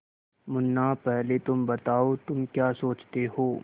मुन्ना पहले तुम बताओ तुम क्या सोचते हो